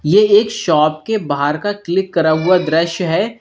ये एक शॉप के बाहर का क्लिक करा हुआ दृश्य है।